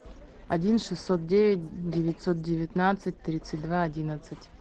один шестьсот девять девятьсот девятнадцать тридцать два одиннадцать